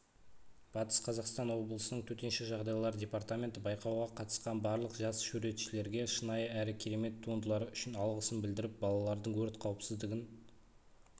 батыс қазақстан облысының төтенше жағдайлар департаменті байқауға қатысқан барлық жас суретшілерге шынайы әрі керемет туындылары үшін алғысын білдіріп балалардың өрт қауіпсіздігін